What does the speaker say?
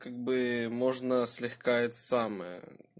как бы можно слегка это самое